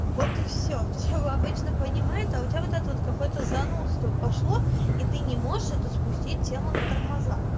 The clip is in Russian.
вот и всё пчёлы обычно понимают а у тебя вот это вот какое-то занудство пошло и ты не можешь это спустить тему на тормоза